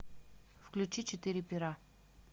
включи четыре пера